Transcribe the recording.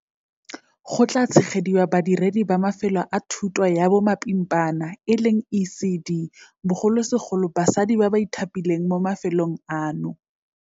Go tla tshegediwa badiredi ba mafelo a thuto ya bomapimpana ECD, bogolosegolo basadi ba ba ithapileng mo mafelong ano.